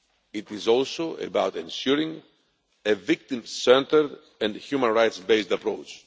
It is also about ensuring a victim centred and human rights based approach.